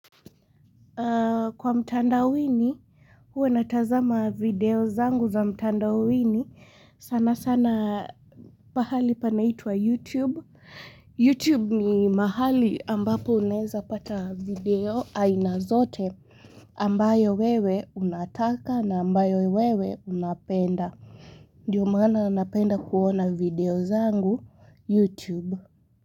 Kwa mtanda wini, huwa natazama video zangu za mtanda wini. Sana sana pahali panaitwa YouTube. YouTube ni mahali ambapo uneza pata video aina zote ambayo wewe unataka na ambayo wewe unapenda. Ndio maana napenda kuona video zangu YouTube.